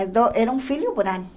Então era um filho por ano.